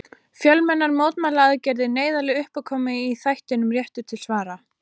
Fjölmennar mótmælaaðgerðir, neyðarleg uppákoma í þættinum Réttur til svara.